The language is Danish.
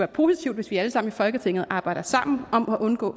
positivt hvis vi alle sammen i folketinget arbejder sammen om at undgå